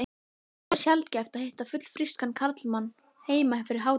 Svo sjaldgæft að hitta fullfrískan karlmann heima fyrir hádegi.